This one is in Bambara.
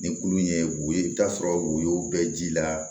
Ni kulu ye woyo i bi t'a sɔrɔ woyo bɛɛ ji la